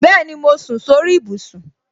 Bẹẹni, mo sùn sórí ibùsùn